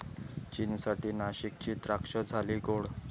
चीनसाठी नाशिकची द्राक्षं झाली गोड!